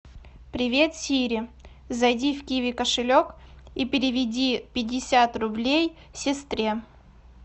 привет сири зайди в киви кошелек и переведи пятьдесят рублей сестре